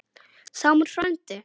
Sámur frændi